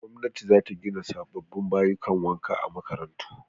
Gwamnati za ta gina sababbin bayukan wanka a makarantu